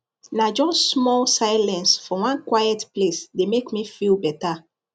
na just small silence for one quiet place dey make me feel better